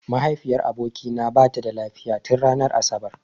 Mahaifiyar abokina bata da lafiya tin ranar asabar.